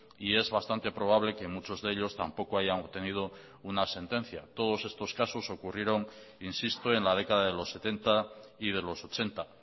y es bastante probable que muchos de ellos tampoco hayan obtenido una sentencia todos estos casos ocurrieron insisto en la década de los setenta y de los ochenta